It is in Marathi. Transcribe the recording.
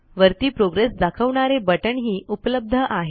वरती प्रोग्रेस दाखवणारे बटण ही उपलब्ध आहे